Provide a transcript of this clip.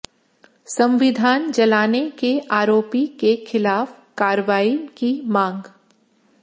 संविधान जलाने के आरोपी के खिलाफ कार्रवाई की मांग